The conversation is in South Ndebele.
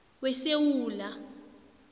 wesewula